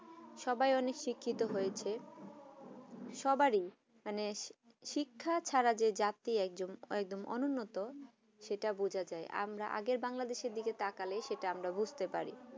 সবাই অনেক শিক্ষিত হয়েছে সবাই এই মানে শিক্ষা ছাড়া যে জাতি একজন অউন্নত সেটা বোছা যায় আগে আমরা বাংলাদেশ দিকে তাকালে সেটা আমরা বুছতে পারি